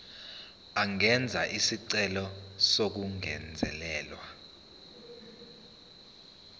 angenza isicelo sokungezelelwa